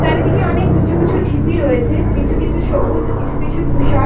চারিদিকে অনেক উঁচু উচু ঢিপি রয়েছে কিছু কিছু সবুজ কিছু কিছু ধূসর।